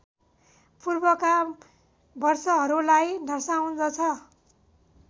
पूर्वका वर्षहरूलाई दर्शाउँदछ